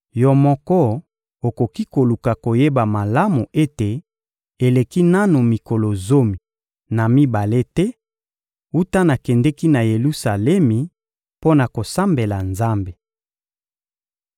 Yo moko okoki koluka koyeba malamu ete eleki nanu mikolo zomi na mibale te wuta nakendeki na Yelusalemi mpo na kosambela Nzambe.